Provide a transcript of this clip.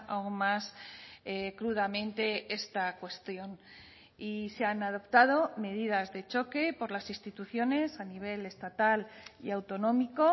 aún más crudamente esta cuestión y se han adoptado medidas de choque por las instituciones a nivel estatal y autonómico